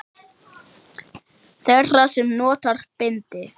Þeirra sem nota bindi?